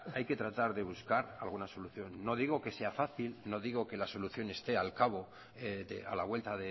hay que tratar de buscar alguna solución no digo que sea fácil no digo que la solución esté a la vuelta